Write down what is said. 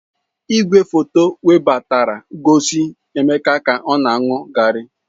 Igwefoto webatara gosi Emeka ka ọ aṅụ garri.